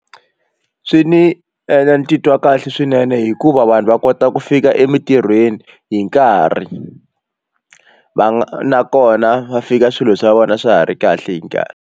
Swi ni endla ni titwa kahle swinene hikuva vanhu va kota ku fika emintirhweni hi nkarhi va nakona va fika swilo swa vona swa ha ri kahle hi nkarhi.